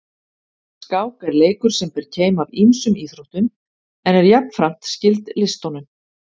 Skák er leikur sem ber keim af ýmsum íþróttum en er jafnframt skyld listunum.